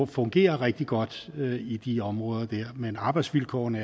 fungerer rigtig godt i de områder der men arbejdsvilkårene